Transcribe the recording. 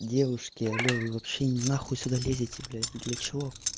девушки аллё вы вообще на хуй сюда лезете блять для чего